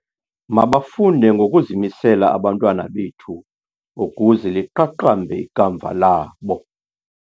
Mabafunde ngokuzimisela abantwana bethu ukuze liqaqambe ikamva labo.